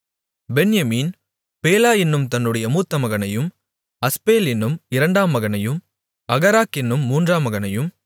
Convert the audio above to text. பென்யமீன் பேலா என்னும் தன்னுடைய மூத்த மகனையும் அஸ்பேல் என்னும் இரண்டாம் மகனையும் அகராக் என்னும் மூன்றாம் மகனையும்